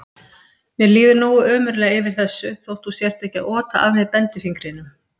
Mér líður nógu ömurlega yfir þessu þótt þú sért ekki að ota að mér bendifingrinum.